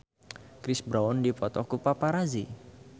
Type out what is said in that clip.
Chris Brown dipoto ku paparazi